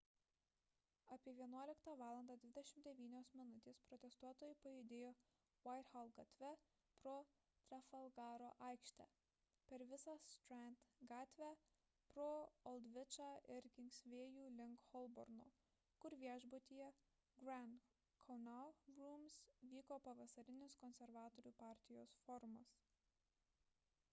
apie 11.29 val protestuotojai pajudėjo whitehall gatve pro trafalgaro aikštę per visą strand gatvę pro oldvičą ir kingsvėjų link holborno kur viešbutyje grand connaught rooms vyko pavasarinis konservatorių partijos forumas